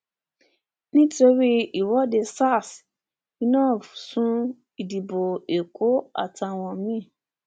nítorí ìwọ́de sars inov sún ìdìbò èkó àtàwọn mi